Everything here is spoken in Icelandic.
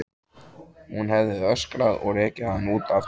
Hún hefði öskrað og rekið hann út aftur.